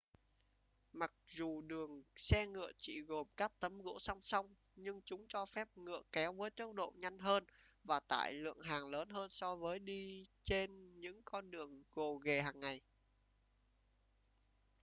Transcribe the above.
mặc dù đường xe ngựa chỉ gồm các tấm gỗ song song nhưng chúng cho phép ngựa kéo với tốc độ nhanh hơn và tải lượng hàng lớn hơn so với đi trên những con đường gồ ghề hàng ngày